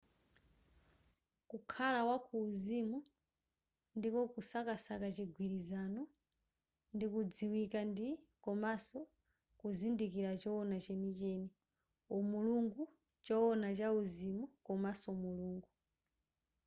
kukhala wa kuuzimu ndiko kusakasaka chigwilizano ndi kudziwika ndi komanso kuzindikira chowona chenicheni umulungu chowona chauzimu komanso mulungu